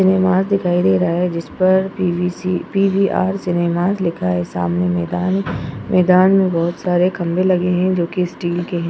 Cinemas दिखाई दे रहा है जिसपर P V C PVR. Cinema लिखा है सामने मैंदान है मैंदान में बहोत सारे खंबे लगे है जो कि स्टील के हैं।